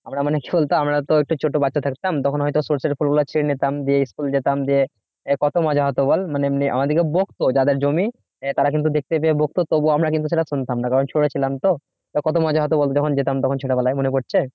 আমরা মানুষ আমরা তো ছোট বাচ্চা থাকতাম তখন মানে তখন হয়তো সর্ষেফুল গুলো ছিঁড়ে নিতাম যে school যেতাম যে কত মজা হতো বল মানে এমনি আমাদেরকে ভক্ত যাদের জমি আহ তারা কিন্তু দেখতে যেয়ে বকত তবুও আমরা সেটা শুনতাম না কারণ ছোট ছিলাম তো কত মজা হতো যখন যেতাম তখন ছোটবেলায় মনে পড়ছে?